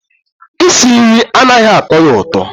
Isi nri anaghị atọ ya ụtọ